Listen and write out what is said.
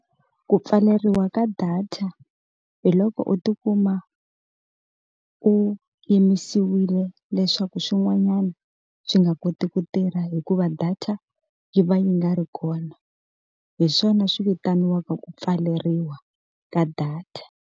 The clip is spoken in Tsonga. Ku pfaleriwa ka data, hi loko u ti kuma u yimisiwile leswaku swin'wanyana swi nga koti ku tirha hikuva data yi va yi nga ri kona. Hi swona swi vitaniwaka ku pfaleriwa ka data.